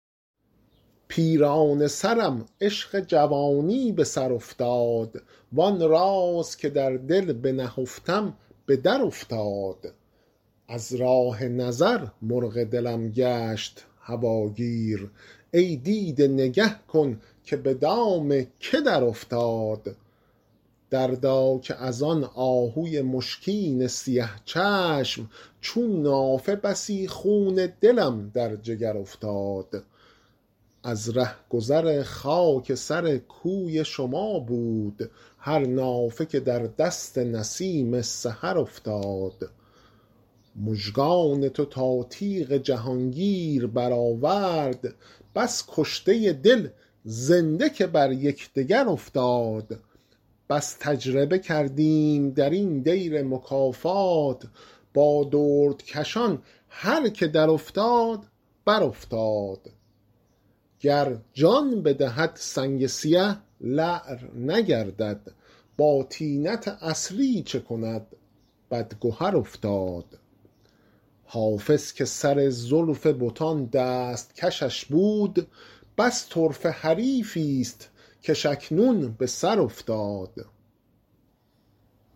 پیرانه سرم عشق جوانی به سر افتاد وآن راز که در دل بنهفتم به درافتاد از راه نظر مرغ دلم گشت هواگیر ای دیده نگه کن که به دام که درافتاد دردا که از آن آهوی مشکین سیه چشم چون نافه بسی خون دلم در جگر افتاد از رهگذر خاک سر کوی شما بود هر نافه که در دست نسیم سحر افتاد مژگان تو تا تیغ جهانگیر برآورد بس کشته دل زنده که بر یکدگر افتاد بس تجربه کردیم در این دیر مکافات با دردکشان هر که درافتاد برافتاد گر جان بدهد سنگ سیه لعل نگردد با طینت اصلی چه کند بدگهر افتاد حافظ که سر زلف بتان دست کشش بود بس طرفه حریفی ست کش اکنون به سر افتاد